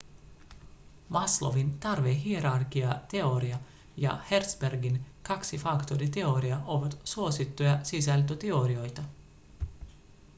maslow'n tarvehierarkiateoria ja hertzbergin kaksifaktoriteoria ovat suosittuja sisältöteorioita